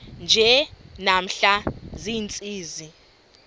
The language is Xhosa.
nje namhla ziintsizi